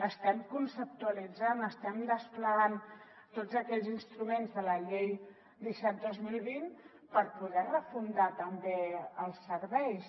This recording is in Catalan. estem conceptualitzant estem desplegant tots aquells instruments de la llei disset dos mil vint per poder refundar també els serveis